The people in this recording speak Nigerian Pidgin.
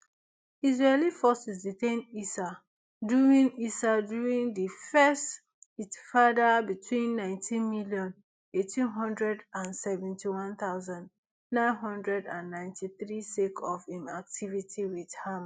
israeli forces detain issa during issa during di first itfada between nineteen million, eight hundred and seventy-one thousand, nine hundred and ninety-three sake of im activity wit ham